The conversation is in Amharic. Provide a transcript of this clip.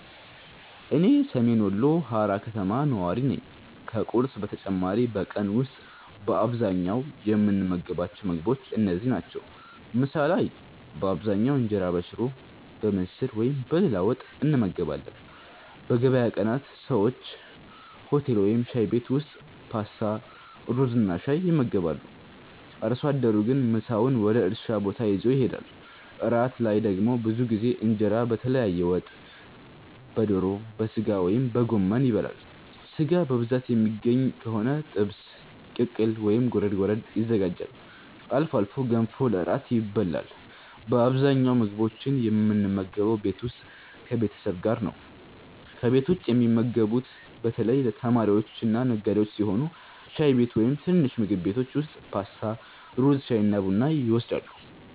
እኔ ሰሜን ወሎ ሃራ ከተማ ነዋሪ ነኝ። ከቁርስ በተጨማሪ በቀን ውስጥ በአብዛኛው የምንመገባቸው ምግቦች እነዚህ ናቸው፦ ምሳ ላይ በአብዛኛው እንጀራ በሽሮ፣ በምስር ወይም በሌላ ወጥ እንመገባለን። በገበያ ቀናት ሰዎች ሆቴል ወይም ሻይ ቤት ውስጥ ፓስታ፣ ሩዝና ሻይ ይመገባሉ። አርሶ አደሩ ግን ምሳውን ወደ እርሻ ቦታ ይዞ ይሄዳል። እራት ላይ ደግሞ ብዙ ጊዜ እንጀራ በተለያየ ወጥ (በዶሮ፣ በሥጋ ወይም በጎመን) ይበላል። ሥጋ በብዛት የሚገኝ ከሆነ ጥብስ፣ ቅቅል ወይም ጎረድ ጎረድ ይዘጋጃል። አልፎ አልፎ ገንፎ ለእራት ይበላል። በአብዛኛው ምግቦችን የምንመገበው ቤት ውስጥ ከቤተሰብ ጋር ነው። ከቤት ውጭ የሚመገቡት በተለይ ተማሪዎችና ነጋዴዎች ሲሆኑ ሻይ ቤት ወይም ትንንሽ ምግብ ቤቶች ውስጥ ፓስታ፣ ሩዝ፣ ሻይና ቡና ይወስዳሉ።